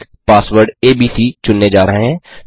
हम एक password ABC चुनने जा रहे हैं